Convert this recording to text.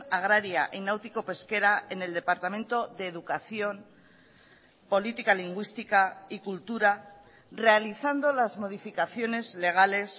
agraria y náutico pesquera en el departamento de educación política lingüística y cultura realizando las modificaciones legales